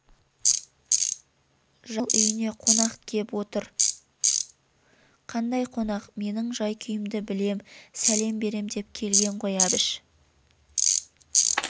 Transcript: жаңыл үйіне қонақ кеп отыр қандай қонақ менің жай-күйімді білем сәлем берем деп келген ғой әбіш